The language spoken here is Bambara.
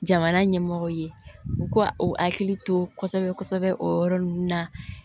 Jamana ɲɛmɔgɔw ye u ka u hakili to kosɛbɛ kosɛbɛ o yɔrɔ ninnu na